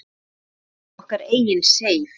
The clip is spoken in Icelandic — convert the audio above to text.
Við eigum okkar eigin Seif.